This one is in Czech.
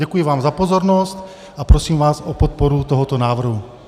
Děkuji vám za pozornost a prosím vás o podporu tohoto návrhu.